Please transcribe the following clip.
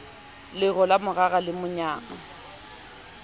lero la morara le monyang